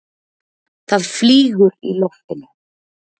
Það flýgur í loftinu.